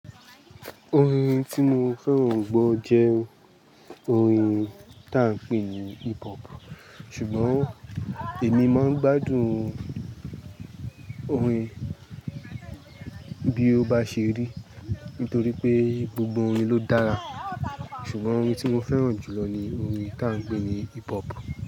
Orin tí mo fẹ́ràn gbọ jẹ́ orin tà ń pè ní hip hop. Ṣùgbọ́n èmi máa ń gbádùn orin bí ó bá ṣe rí, nítorí pé gbogbo orin ló dára. Ṣùgbọ́n orin tí mo fẹ́ràn jù lọ ni orin tí à ń pè ní hip hop.